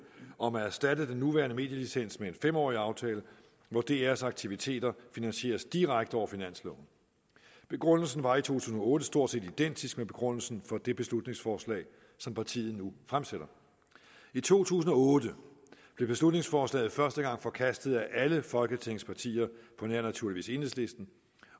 om at erstatte den nuværende medielicens med en fem årig aftale hvor drs aktiviteter finansieres direkte over finansloven begrundelsen var i to tusind og otte stort set identisk med begrundelsen for det beslutningsforslag som partiet nu fremsætter i to tusind og otte blev beslutningsforslaget første gang forkastet af alle folketingets partier naturligvis på nær enhedslisten